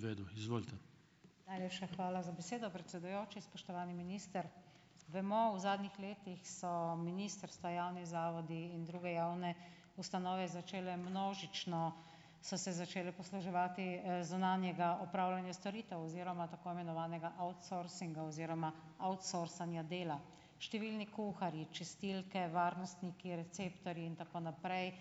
Najlepša hvala za besedo, predsedujoči. Spoštovani minister! Vemo, v zadnjih letih so ministrstva, javni zavodi in druge javne ustanove začele množično, so se začele posluževati, zunanjega opravljanja storitev oziroma tako imenovanega outsourcinga oziroma outsourcanja dela. Številni kuharji, čistilke, varnostniki, receptorji, in tako naprej,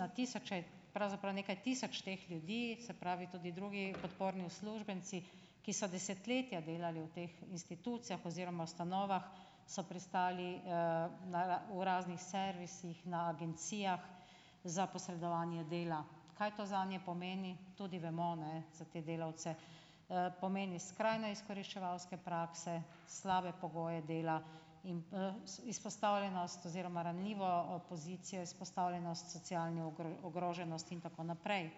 na tisoče, pravzaprav nekaj tisoč teh ljudi, se pravi, tudi drugi podporni uslužbenci, ki so desetletja delali v teh institucijah oziroma ustanovah, so pristali, na v raznih servisih, na agencijah za posredovanje dela. Kaj to zanje pomeni, tudi vemo, ne za te delavce. Pomeni skrajno izkoriščevalske prakse, slabe pogoje dela in, izpostavljenost oziroma ranljivo, pozicijo, izpostavljenost socialni ogroženosti in tako naprej.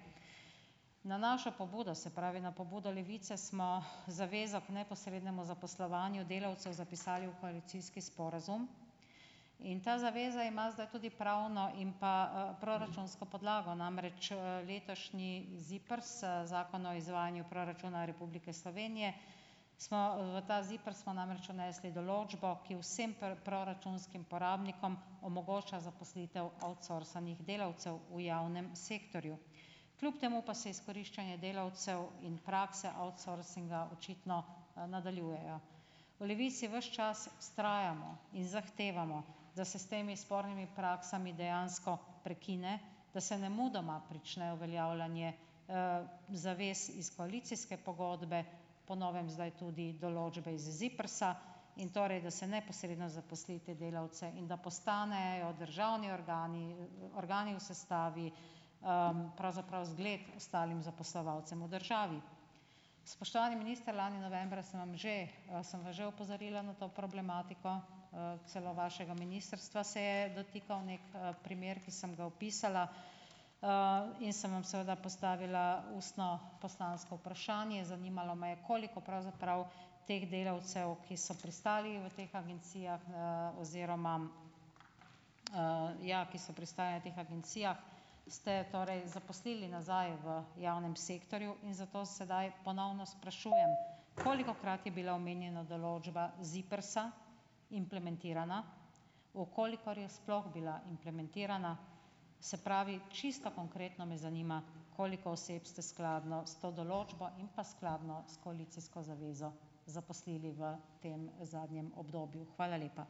Na našo pobudo, se pravi, na pobudo Levice, smo zavezo k neposrednemu zaposlovanju delavcev zapisali v koalicijski sporazum in ta zaveza ima zdaj tudi pravno in pa, proračunsko podlago, namreč, letošnji ZIPRS, Zakon o izvajanju proračuna Republike Slovenije smo, v ta ZIPRS smo namreč vnesli določbo, ki vsem proračunskim porabnikom omogoča zaposlitev outsourcanih delavcev v javnem sektorju. Kljub temu pa se je izkoriščanje delavcev in prakse outsourcinga očitno, nadaljujejo. V Levici ves čas vztrajamo in zahtevamo, da se s temi spornimi praksami dejansko prekine, da se nemudoma prične uveljavljanje, zavez iz koalicijske pogodbe, po novem zdaj tudi določbe iz ZIPRS-a, in torej da se neposredno zaposli te delavce in da postanejo državni organi, organi v sestavi, pravzaprav zgled ostalim zaposlovalcem v državi. Spoštovani minister! Lani novembra sem vam že, sem vas že opozorila na to problematiko, celo vašega ministrstva se je dotikal neki, primer, ki sem ga opisala, in sem vam seveda postavila ustno poslansko vprašanje. Zanimalo me je, koliko pravzaprav teh delavcev, ki so pristali v teh agencijah, oziroma, ja, ki so pristali v teh agencijah ste torej zaposlili nazaj v javnem sektorju in zato sedaj ponovno sprašujem: Kolikokrat je bila omenjena določba ZIPRS-a implementirana, v kolikor je sploh bila implementirana, se pravi, čisto konkretno me zanima, koliko oseb ste skladno s to določbo in pa skladno s koalicijsko zavezo zaposlili v tem zadnjem obdobju? Hvala lepa.